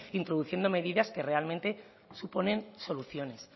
introduciendo medidas que realmente suponen soluciones